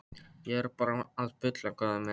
Ég er bara að bulla góði minn.